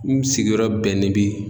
N sigiyɔrɔ bɛnnen bi